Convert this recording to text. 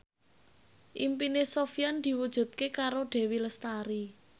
impine Sofyan diwujudke karo Dewi Lestari